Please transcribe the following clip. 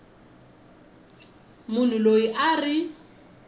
munhu loyi a a ri